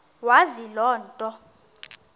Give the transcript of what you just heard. wazi loo nto